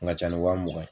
Kun ka ca ni wa mugan ye